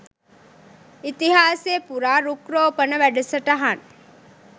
ඉතිහාසය පුරා රුක්රෝපන වැඩසටහන්